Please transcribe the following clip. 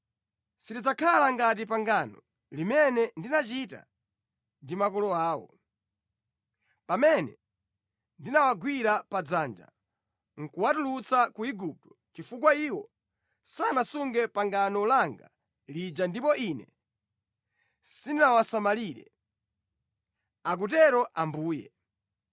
Silidzakhala ngati pangano limene ndinachita ndi makolo awo, pamene ndinawagwira padzanja nʼkuwatulutsa ku Igupto chifukwa iwo sanasunge pangano langa lija ndipo Ine sindinawasamalire, akutero Ambuye.